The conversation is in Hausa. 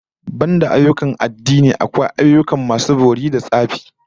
Banda ayyukan addini, akwai ayyukan masu bori da tsafi da surkullen gargajiya